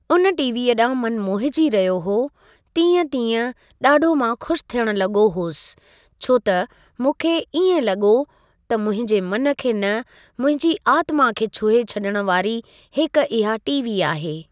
उन टीवीअ ॾांहु मनु मोहिजी रहियो हुओ तीअं तीअं ॾाढो मां ख़ुशि थियण लॻो होसि छो त मूंखे इएं लॻो त मुंहिंजे मन खे न मुंहिंजी आत्मा खे छुहे छ्ॾण वारी हिक इहा टीवी आहे।